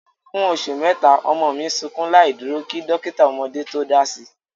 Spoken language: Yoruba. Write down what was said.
Fún oṣù mẹ́ta, ọmọ mi sukún láìdúró kí dọ́kítà ọmọdé tó dási.